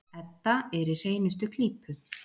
Edda er í hreinustu klípu.